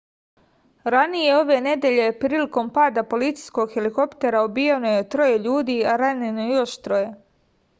ranije ove nedelje prilikom pada policijskog helikoptera ubijeno je troje ljudi a ranjeno još troje